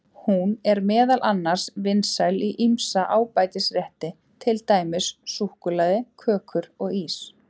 Hún er meðal annars vinsæl í ýmsa ábætisrétti, til dæmis í súkkulaði, kökur og ís.